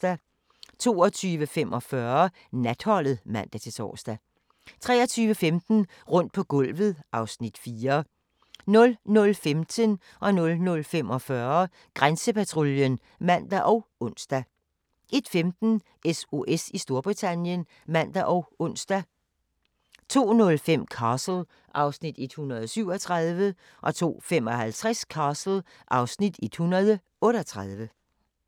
22:45: Natholdet (man-tor) 23:15: Rundt på gulvet (Afs. 4) 00:15: Grænsepatruljen (man og ons) 00:45: Grænsepatruljen (man og ons) 01:15: SOS i Storbritannien (man og ons) 02:05: Castle (Afs. 137) 02:55: Castle (Afs. 138)